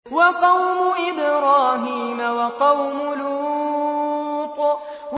وَقَوْمُ إِبْرَاهِيمَ وَقَوْمُ لُوطٍ